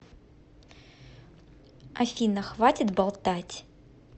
афина хватит болтать